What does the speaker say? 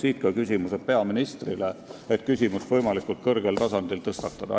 Siit ka küsimused peaministrile, selleks et küsimust võimalikult kõrgel tasandil tõstatada.